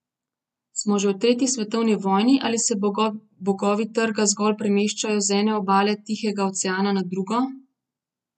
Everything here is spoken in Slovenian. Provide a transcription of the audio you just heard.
Smo že v tretji svetovni vojni ali se bogovi trga zgolj premeščajo z ene obale Tihega oceana na drugo?